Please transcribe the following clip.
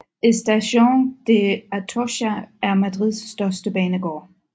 Estación de Atocha er Madrids største banegård